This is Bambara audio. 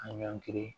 An ɲɔngiri